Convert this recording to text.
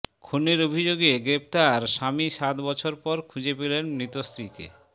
খুনের অভিযোগে গ্রেফতার স্বামী সাত বছর পর খুঁজে পেলেন মৃত স্ত্রীকে